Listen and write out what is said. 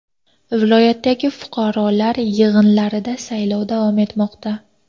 Viloyatdagi fuqarolar yig‘inlarida saylov davom etmoqda.